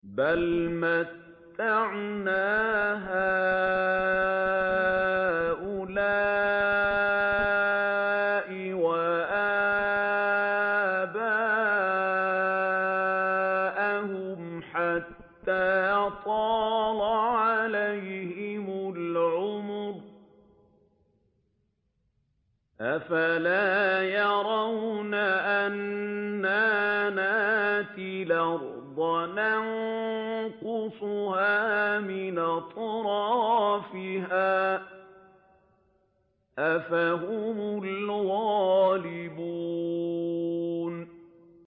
بَلْ مَتَّعْنَا هَٰؤُلَاءِ وَآبَاءَهُمْ حَتَّىٰ طَالَ عَلَيْهِمُ الْعُمُرُ ۗ أَفَلَا يَرَوْنَ أَنَّا نَأْتِي الْأَرْضَ نَنقُصُهَا مِنْ أَطْرَافِهَا ۚ أَفَهُمُ الْغَالِبُونَ